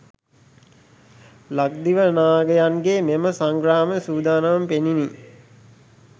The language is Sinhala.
ලක්දිව නාගයන්ගේ මෙම සංග්‍රාම සූදානම පෙනුණි.